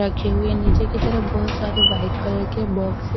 रखे हुए निचे की तरफ बहोत सारे वाइट कलर के बॉक्स --